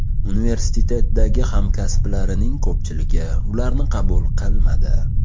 Universitetdagi hamkasblarining ko‘pchiligi ularni qabul qilmadi.